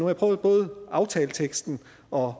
jeg prøvet både i aftaleteksten og